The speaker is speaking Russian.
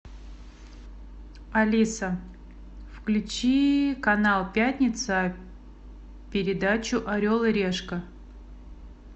алиса включи канал пятница передачу орел и решка